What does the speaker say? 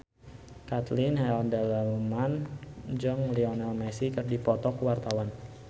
Caitlin Halderman jeung Lionel Messi keur dipoto ku wartawan